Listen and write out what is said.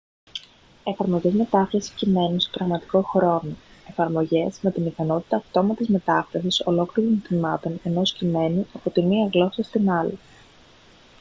εφαρμογές μετάφρασης κειμένου σε πραγματικό χρόνο εφαρμογές με την ικανότητα αυτόματης μετάφρασης ολόκληρων τμημάτων ενός κειμένου από τη μία γλώσσα στην άλλη